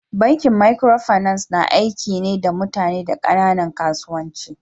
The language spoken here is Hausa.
Bankin microfinance na aiki na da mutane da kananan kasuwanci.